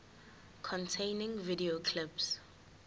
containing video clips